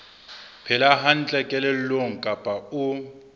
phela hantle kelellong kapa o